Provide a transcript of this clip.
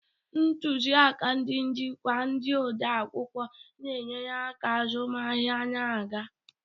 Ntuziaka ndị njikwa, ndị odeakwụkwọ na-enyere aka, azụmahịa na-aga.